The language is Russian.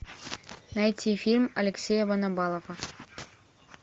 найти фильм алексея ванабалова